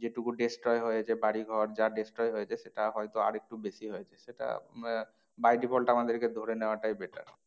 যে টুকু destroy হয়েছে বাড়ি ঘর যা destroy হয়েছে সেটা হয়তো আর একটু বেশি হয়েছে। সেটা আহ by default আমাদেরকে ধরে নেওয়াটাই better